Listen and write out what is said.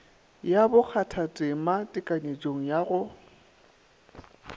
ya bokgathatema tekanyetšong ya go